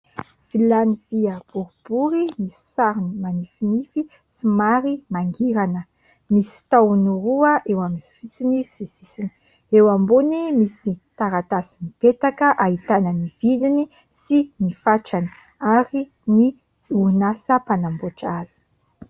Vilany vy boribory, misy sarony manifinify somary mangirana. Misy tahony roa eo amin'ny sisiny sy sisiny ; eo ambony misy taratasy mipetaka, ahitana ny vidiny sy ny fatrany ary ny orinasa panamboatra azy.